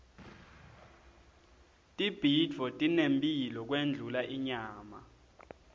tibhidvo tinemphilo kundlula inyama